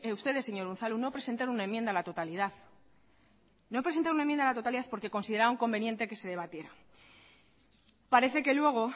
ustedes señor unzalu no presentaron una enmienda a la totalidad no presentaron una enmienda a la totalidad porque consideraron conveniente que se debatiera parece que luego